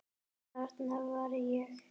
Þarna var ég.